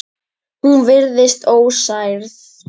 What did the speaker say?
Hún virtist ósærð.